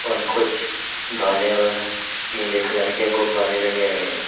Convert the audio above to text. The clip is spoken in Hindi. और कुछ धाने और नीले कलर के गुब्बारे लगे हुए हैं।